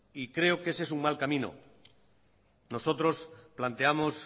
y creo que ese es un mal camino nosotros planteamos